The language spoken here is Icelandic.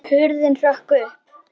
Hurðin hrökk upp!